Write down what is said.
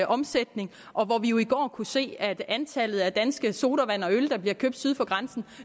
omsætning og hvor vi jo i går kunne se at antallet af danske sodavand og øl der bliver købt syd for grænsen